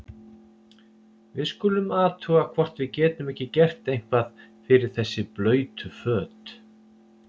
Við skulum athuga hvort við getum ekki gert eitthvað fyrir þessi blautu föt.